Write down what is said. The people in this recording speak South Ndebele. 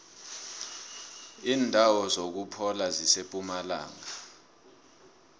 indawo zokuphola zisempumalanga